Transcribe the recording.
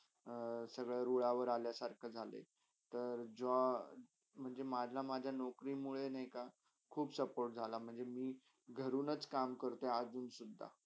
अ सगळ्या रूळावर आला सारखा झाले तर जो मला -माझ्या नोकरीमुळे नाही का खूप support झाला म्हणजे मी घरूनच कामकरते अजून सुद्धा